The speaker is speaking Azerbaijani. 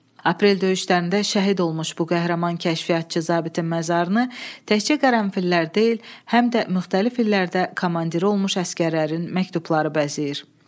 Aprel döyüşlərində şəhid olmuş bu qəhrəman kəşfiyyatçı zabitin məzarını təkcə qərənfillər deyil, həm də müxtəlif illərdə komandiri olmuş əsgərlərin məktubları bəzəyir.